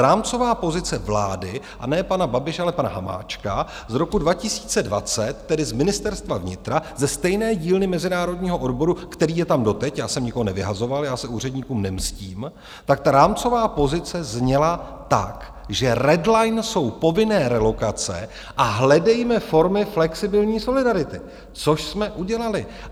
Rámcová pozice vlády, a ne pana Babiše, ale pana Hamáčka z roku 2020, tedy z Ministerstva vnitra, ze stejné dílny mezinárodního odboru, který je tam doteď - já jsem nikoho nevyhazoval, já se úředníkům nemstím, tak ta rámcová pozice zněla tak, že red line jsou povinné relokace a hledejme formy flexibilní solidarity, což jsme udělali.